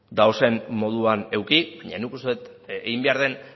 dauden moduan eduki baina nik uste dut egin behar den